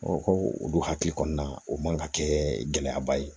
ko olu hakili kɔnɔna o man ka kɛ gɛlɛyaba ye